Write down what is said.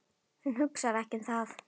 Hún hugsar ekki um það.